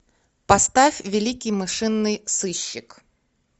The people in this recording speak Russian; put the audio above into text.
поставь великий мышиный сыщик